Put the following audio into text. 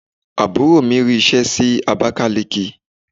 Àbúrò mi rí ṣe sí Abakaliki.